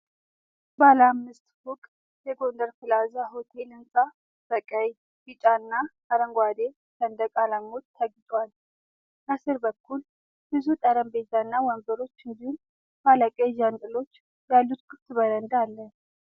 ባለ አምስት ፎቅ የጎንደር ፕላዛ ሆቴል ሕንፃ በቀይ፣ ቢጫና አረንጓዴ ሰንደቅ ዓላማዎች ተጊጦአል። ከስር በኩል፣ ብዙ ጠረጴዛና ወንበሮች እንዲሁም ባለ ቀለም ዣንጥላዎች ያሉት ክፍት በረንዳ አለ።